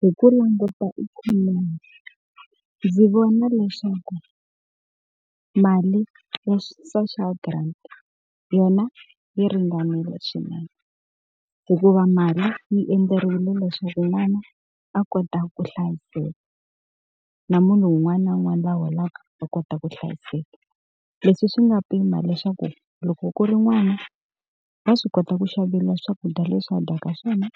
Hi ku languta ikhomoni, ndzi vona leswaku mali ya social grant yona yi ringanile swinene. Hikuva mali yi endzerile leswaku n'wana a kota ku hlayiseka, na munhu un'wana na un'wana la holaka a kota ku hlayiseka. Leswi swi nga pima leswaku loko ku ri n'wana, wa swi kota ku xaveriwa swakudya leswi a dyaka swona